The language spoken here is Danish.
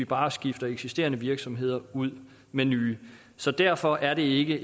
bare at skifte eksisterende virksomheder ud med nye så derfor er det ikke